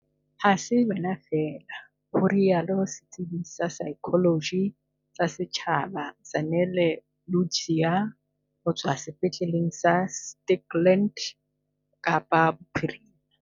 "Ha se wena feela," ho rialo setsebi sa saekholoji sa setjhaba Zanele Ludziya ho tswa sepetleleng sa Stikland, Kapa Bophirima.